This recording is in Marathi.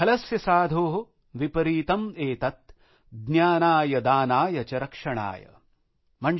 खलस्य साधो विपरीतम् एतत् ज्ञानाय दानाय च रक्षणाय ।।